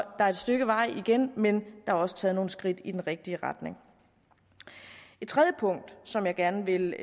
der er et stykke vej igen men der er også taget nogle skridt i den rigtige retning et tredje punkt som jeg gerne vil